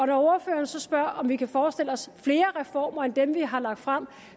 når ordføreren så spørger om vi kan forestille os flere reformer end dem vi har lagt frem